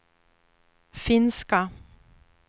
finska